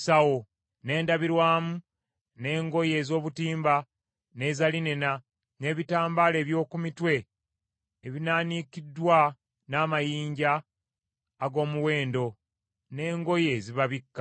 n’endabirwamu, n’engoye ez’obutimba, n’eza linena, n’ebitambaala eby’oku mitwe ebinaanikiddwa n’amayinja ag’omuwendo, n’engoye ezibabikka.